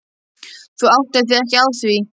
Þú áttaðir þig ekki á því.